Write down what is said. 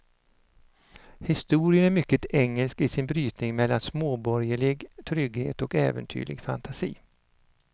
Historien är mycket engelsk i sin brytning mellan småborgerlig trygghet och äventyrlig fantasi.